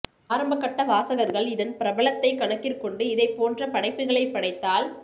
ஆரம்பகட்ட வாசகர்கள் இதன் பிரபலத்தைக் கணக்கிற்கொண்டு இதைப் போன்ற படைப்புகளைப் படைத்தால்